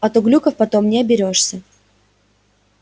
а то глюков потом не оберёшься